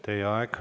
Teie aeg!